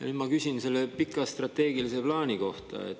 Nüüd ma küsin pika strateegilise plaani kohta.